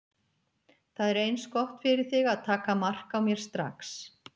Það er eins gott fyrir þig að taka mark á mér strax.